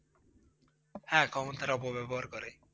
হ্যাঁ ক্ষমতার অপব্যবহার করে।